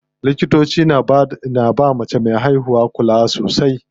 Likitoci na bawa mace me haihuwa kula sosai.